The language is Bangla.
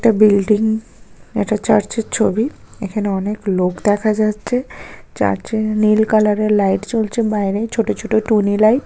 এটা বিল্ডিং । এটা চার্চের ছবি এখানে অনেক লোক দেখা যাচ্ছে। চার্চে এ নীল কালারের লাইট জ্বলছে বাইরে ছোট ছোট টুনি লাইট ।